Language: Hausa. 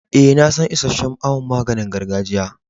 Eh, na san isheshe'n awon maganin gargajiyan.